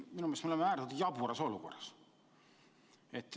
Minu meelest me oleme äärmiselt jaburas olukorras.